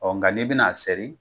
nka n'i bɛna sɛri,